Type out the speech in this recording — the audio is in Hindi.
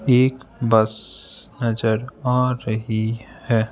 एक बस नजर आ रही है।